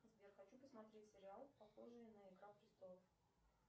сбер хочу посмотреть сериал похожий на игра престолов